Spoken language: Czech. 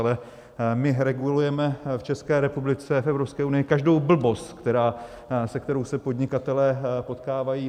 Ale my regulujeme v České republice, v Evropské unii každou blbost, se kterou se podnikatelé potkávají.